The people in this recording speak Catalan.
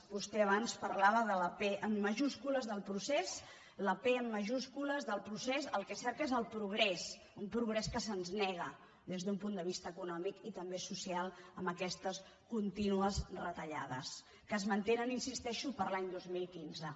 vostè abans parlava de la p en majúscules del procés la p en majúscules del procés el que cerca és el progrés un progrés que se’ns nega des d’un punt de vista econòmic i també social amb aquestes con·tínues retallades que es mantenen hi insisteixo per a l’any dos mil quinze